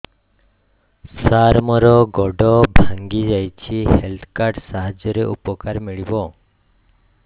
ସାର ମୋର ଗୋଡ଼ ଭାଙ୍ଗି ଯାଇଛି ହେଲ୍ଥ କାର୍ଡ ସାହାଯ୍ୟରେ ଉପକାର ମିଳିବ